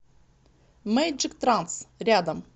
мейджик транс рядом